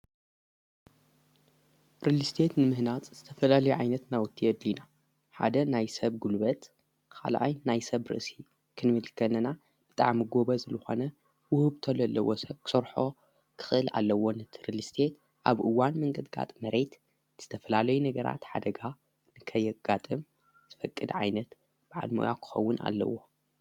ሪልስቴት ንምህናጽ ዝተፈላለየ ዓይነት ናውቲ የድልዩና ሓደ ናይ ሰብ ጉልበት ኻልኣይ ናይ ሰብ ርእሲ ክንምል ከለና ብጣዕሚ ጐበዝ ልኾነ ውህብቶ ለለዎ ሰብ ክሰርሖ ክኽእል ኣለዎ፡፡ ንሪልስቴት ኣብ እዋን ምንቅጥቃጥ መሬት ዝተፈላለዩ ነገራት ሓደጋ ንከይጋጥም ዝፈቅድ ዓይነት ብዓል ሙያ ክኸውን ኣለዎ፡፡